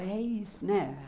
É isso, né?